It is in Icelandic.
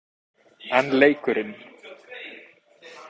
En leikurinn?